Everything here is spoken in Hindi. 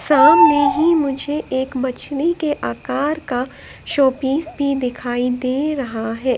सामने ही मुझे एक मछली के आकार का शोपीस भी दिखाई दे रहा है।